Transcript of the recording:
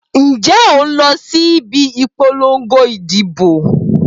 Ǹjẹ́ òun lọ síbi ìpolongo ìdìbò?